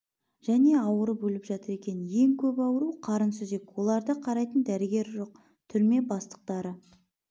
және ауырып өліп жатыр екен ең көп ауру қарын сүзек оларды қарайтын дәрігер жоқ түрме бастықтары